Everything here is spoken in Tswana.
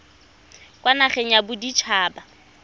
kwa nageng ya bodit haba